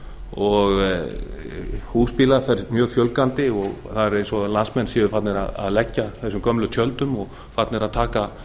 og húsbílum fjölgar mjög mikið það er eins og landsmenn sér farnir að leggja gömlu tjöldunum og farnir að taka